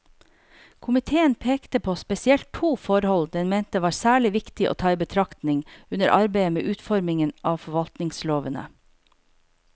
Komiteen pekte på spesielt to forhold den mente var særlig viktig å ta i betraktning under arbeidet med utformingen av forvaltningslovene.